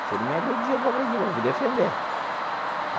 Se ele me agredir, eu vou agredir, eu vou me defender.